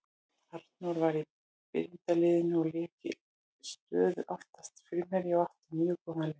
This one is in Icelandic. Arnór var í byrjunarliðinu og lék í stöðu aftari framherja og átti mjög góðan leik.